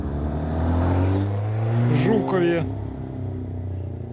жукове